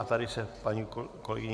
A tady se paní kolegyně